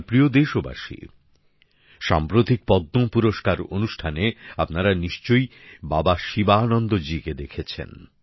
আমার প্রিয় দেশবাসী সাম্প্রতিক পদ্ম পুরস্কার অনুষ্ঠানে আপনারা নিশ্চয়ই বাবা শিবানন্দজিকে দেখেছেন